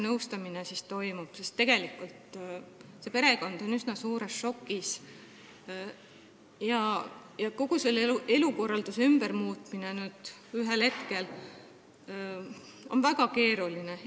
Tegelikult on see perekond üsna suures šokis ja kogu elukorralduse muutmine ühe hetkega on väga keeruline.